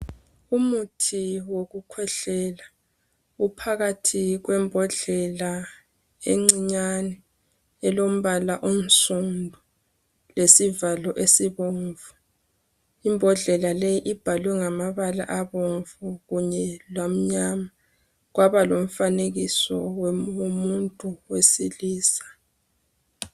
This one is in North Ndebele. Umuthi wokukhwehlela uphakathi kwembodlela encinyane elombala unsundu lesivalo esibomvu imbodlela le ibhalwe ngamabala abomvu kanye lamnyama kwaba lomfanekiso womuntu wesilisa